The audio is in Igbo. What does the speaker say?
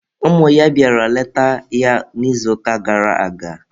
Ụmụ ya bịara leta ya n'izuụka gara aga.